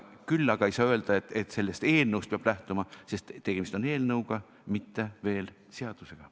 Küll aga ei saa öelda, et sellest eelnõust peab lähtuma, sest tegemist on alles eelnõuga, mitte seadusega.